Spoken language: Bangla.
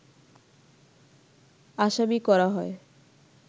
আসামি করা হয়